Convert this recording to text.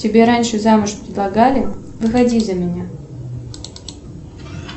тебе раньше замуж предлагали выходи за меня